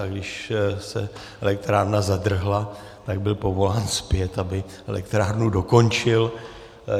A když se elektrárna zadrhla, tak byl povolán zpět, aby elektrárnu dokončil.